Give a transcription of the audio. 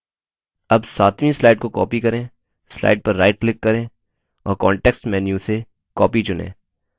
अब सातवीं स्लाइड को कॉपी करें स्लाइड पर राइट क्लिक करें और कांटेक्स्ट मेन्यू से copy चुनें